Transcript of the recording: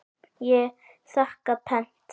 Ég þakka pent.